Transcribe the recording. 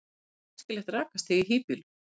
hvert er æskilegt rakastig í hýbýlum